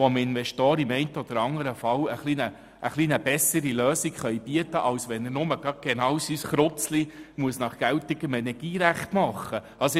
Diese würde es erlauben, im einen oder anderen Fall Investoren eine etwas bessere Lösung zu bieten, als wenn dieser sein Gebäude nach geltendem Energierecht bauen müsste.